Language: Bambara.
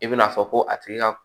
I bɛna fɔ ko a tigi ka